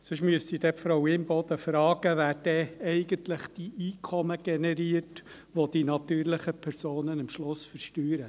Sonst müsste ich dann Frau Imboden fragen, wer denn eigentlich die Einkommen generiert, welche die natürlichen Personen am Schluss versteuern.